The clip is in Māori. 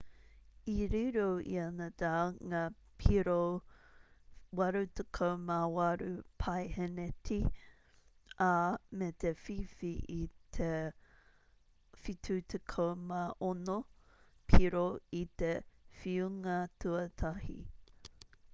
i riro i a nadal ngā piro 88% i te whakataetae ā me te whiwhi i te 76 piro i te whiunga tuatahi